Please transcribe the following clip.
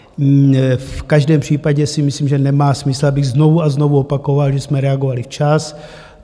V každém případě si myslím, že nemá smysl, abych znovu a znovu opakoval, že jsme reagovali včas.